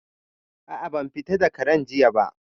A'a, ban fita da Karen jiya ba